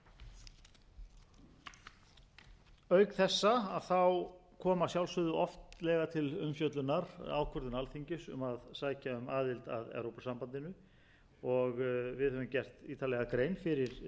ríkjum auk þessa kom að sjálfsögðu oftlega til umfjöllunar ákvörðun alþingis um að sækja um aðild að evrópusambandinu og við höfum gert ítarlega grein fyrir þeim